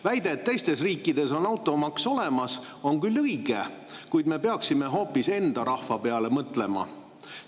Väide, et teistes riikides on automaks olemas, on küll õige, kuid me peaksime hoopis enda rahva peale mõtlema.